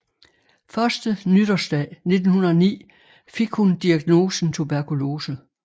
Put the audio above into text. Første nytårsdag 1909 fik hun diagnosen tuberkulose